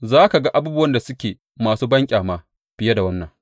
Za ka ga abubuwan da suke masu banƙyama fiye da wannan.